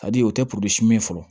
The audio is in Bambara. A di o tɛ min ye fɔlɔ